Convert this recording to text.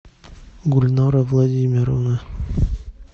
гульнара владимировна